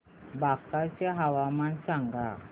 बांका चे हवामान सांगा